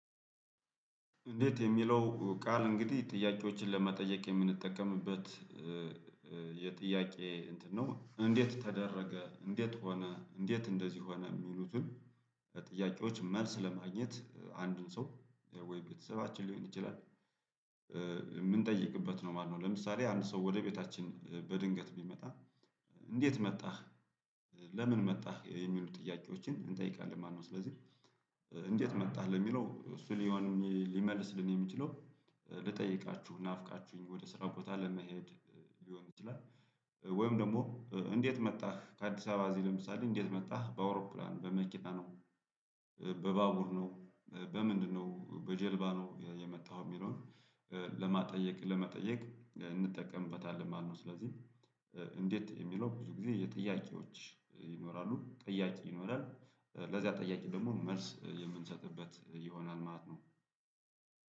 እንዴት የሚለው ቃል እንግዲህ ጥያቄዎችን ለመጠየቅ የምንጠቀምበት የጥያቄ እንትን ነው እንዴት ተደረገ እንዴት ሆነ እንዴት እንደዚህ ሆነ የሚሉትን ጥያቄዎች መልስ ለማግኘት አንዱን ሰው ወይ ቤተሰባችን ሊሆን ይችላል። የምንጠይቅበት ነው ማለት ነው። ለምሳሌ አንድ ሰው ወደ ቤታችን በድንገት ቢመጣ እንዴት መጣህ ለምን መጣህ የሚሉ ጥያቄዎችን እንጠይቃለን ማለት ነው። ስለዚህ እንዴት መጣህ ለሚለው እሱን ሊሆን ሊመልስ የሚችለው ልጠይቃችሁ ናፍቃችሁኝ ወደ ስራ ቦታ ለመሄድ ሊሆን ይችላል። ወይም ደግሞ እንዴት መጣህ ከአዲስ አበባ እዚህ ለምሳሌ እንዴት መጣህ በአውሮፕላን በመኪና ነው በባቡር ነው በምንድነው በጀልባ ነው የመጣኸው የሚለውን ለማጥየቅ ለመጠየቅ እንጠቀምበታለን ማለት ነው። ስለዚህ እንዴት የሚለው ብዙ ጊዜ የጥያቄዎች ይኖራሉ ጥያቄ ይኖራል ለዚያ ጠያቅ ደግሞ መልስ የምንሰጥበት ይሆናል ማለት ነው።